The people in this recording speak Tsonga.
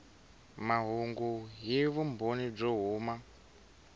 mahungu hi vumbhoni byo huma